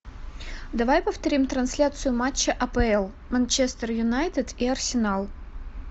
давай повторим трансляцию матча апл манчестер юнайтед и арсенал